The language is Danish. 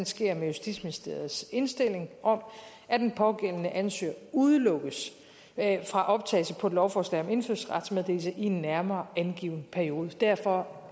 sker med justitsministeriets indstilling om at den pågældende ansøger udelukkes fra optagelse på et lovforslag om indfødsretsmeddelelse i en nærmere angiven periode derfra